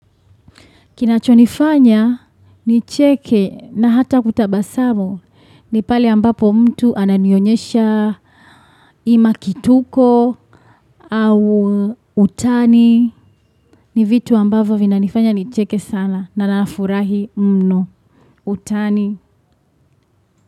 Kinachonifanya ni cheke na hata kutabasamu ni pale ambapo mtu ananionyesha ima kituko au utani ni vitu ambavo vina nifanya ni cheke sana na na nafurahi mno utani.